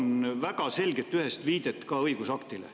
Palun väga selget, ühest viidet ka õigusaktile.